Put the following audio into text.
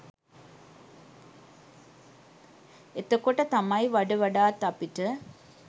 එතකොට තමයි වඩවඩාත් අපිට